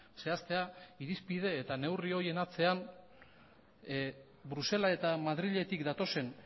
zehaztea irizpide eta neurri horien atzean brusela eta madriletik datozen